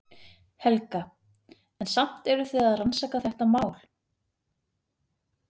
Helga: En samt eruð þið að rannsaka þetta mál?